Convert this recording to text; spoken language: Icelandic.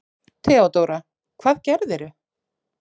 THEODÓRA: Hvað gerðirðu?